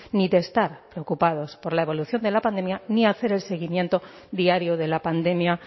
ni de estar preocupados por la evolución de la pandemia ni hacer el seguimiento diario de la pandemia